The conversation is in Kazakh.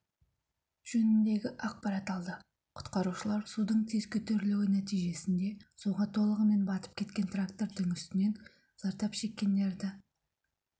жөнінде ақпарат алды құтқарушылар судың тез көтерілуі нәтижесінде суға толығымен батып кеткен трактордың үстінен зардапшеккендерді